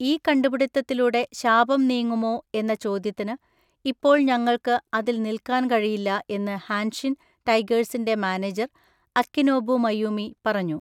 ഈ കണ്ടുപിടിത്തത്തിലൂടെ ശാപം നീങ്ങുമോ എന്ന ചോദ്യത്തിന്, ഇപ്പോൾ ഞങ്ങൾക്ക് അതിൽ നിൽക്കാൻ കഴിയില്ല എന്ന് ഹാൻഷിൻ ടൈഗേഴ്സിന്‍റെ മാനേജർ അക്കിനോബു മയൂമി പറഞ്ഞു.